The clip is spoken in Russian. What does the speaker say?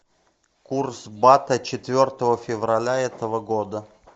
курс бата четвертого февраля этого года